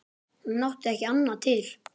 Hún átti ekki annað til.